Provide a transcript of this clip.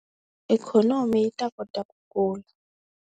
Ikhonomi yi ta kota ku kula.